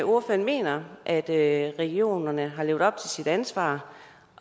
ordføreren mener at at regionerne har levet op til deres ansvar